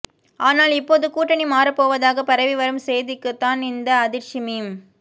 ஆனால் இப்போது கூட்டணி மாறப்போவதாக பரவி வரும் செய்திக்குத்தான் இந்த அதிர்ச்சி மீம்